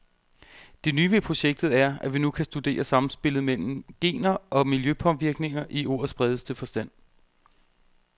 Det nye ved projektet er, at vi nu kan studere samspillet mellem gener og miljøpåvirkninger i ordets bredeste forstand.